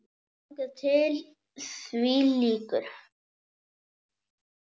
Þangað til því lýkur.